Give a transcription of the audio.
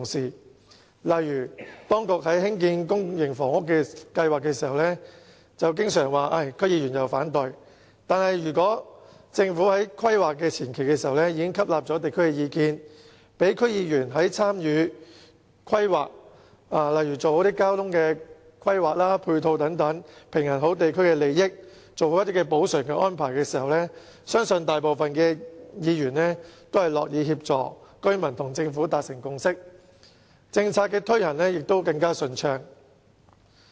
舉例而言，當局在興建公營房屋計劃時經常說受到區議員反對，但如果政府在規劃前期已經吸納地區意見，讓區議員參與規劃，例如交通和配套規劃，平衡地區利益，做好補償安排，相信大部分議員也會樂意協助居民與政府達成共識，這樣政策推行亦會更順暢。